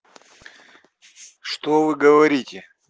что вы говорите